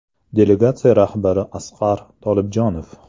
Delegatsiya rahbari Asqar Tolibjonov.